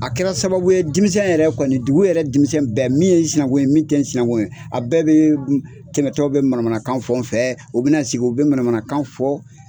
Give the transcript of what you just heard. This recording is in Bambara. A kɛra sababu ye denmisɛn yɛrɛ kɔni dugu yɛrɛ denmisɛn bɛɛ min ye sinankun ye min tɛ sinankun ye a bɛɛ bɛ tɛmɛtɔ bɛ manamanakan fɔ n fɛ u bɛna sigi u bɛ manamakan fɔ.